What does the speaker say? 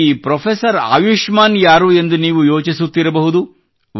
ಈ ಪೆÇ್ರಫೆಸರ್ ಆಯುಷ್ಮಾನ್ ಯಾರು ಎಂದು ನೀವು ಯೋಚಿಸುತ್ತಿರಬಹುದು